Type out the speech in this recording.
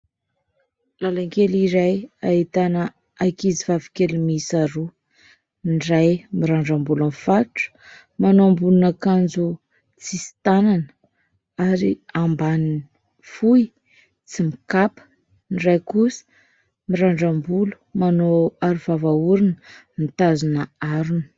Làlan-kely iray ahitana ankizivavy kely miisa roa. Ny iray mirandram-bolo mifatotra, manao ambonin'akanjo tsisy tànana ary ambaniny fohy tsy mikapa. Ny iray kosa mirandram-bolo manao arovava orona mitazona harona.